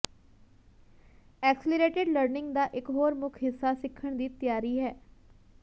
accelerated learning ਦਾ ਇਕ ਹੋਰ ਮੁੱਖ ਹਿੱਸਾ ਸਿੱਖਣ ਦੀ ਤਿਆਰੀ ਹੈ